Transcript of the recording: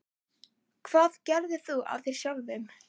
Hvað gerðir þú af þér sjálfur?